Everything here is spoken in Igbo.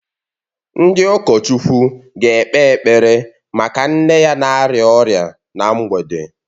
Ndị ụkọchukwu ga-ekpe ekpere maka nne ya na-arịa ọrịa na mgbede